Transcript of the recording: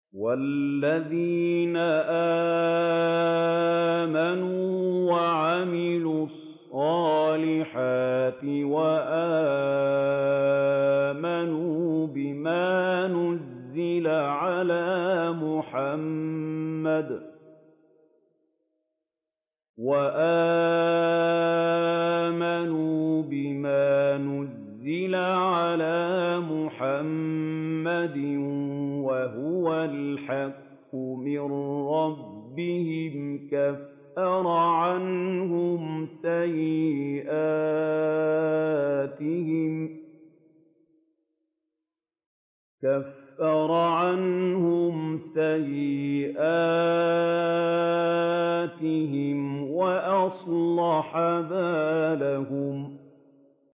وَالَّذِينَ آمَنُوا وَعَمِلُوا الصَّالِحَاتِ وَآمَنُوا بِمَا نُزِّلَ عَلَىٰ مُحَمَّدٍ وَهُوَ الْحَقُّ مِن رَّبِّهِمْ ۙ كَفَّرَ عَنْهُمْ سَيِّئَاتِهِمْ وَأَصْلَحَ بَالَهُمْ